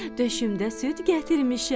Döşümdə süd gətirmişəm.